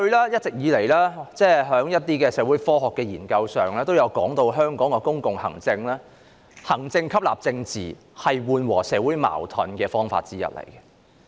一直以來，一些社會科學研究也指出，香港的公共行政是以行政吸納政治，這是緩和社會矛盾的方法之一。